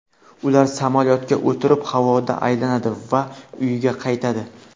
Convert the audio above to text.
Ular samolyotga o‘tirib havoda aylanadi va uyga qaytadi.